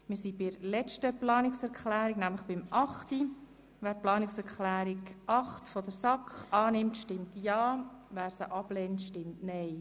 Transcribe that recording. Wer den Bericht des Regierungsrats mit den angenommenen Planungserklärungen zur Kenntnis nimmt, stimmt Ja, wer die Kenntnisnahme ablehnt, stimmt Nein.